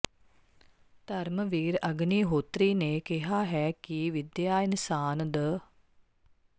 ਧਰਮਵੀਰ ਅਗਨੀਹੋਤਰੀ ਨੇ ਕਿਹਾ ਹੈ ਕਿ ਵਿਦਿਆ ਇਨਸਾਨ ਦ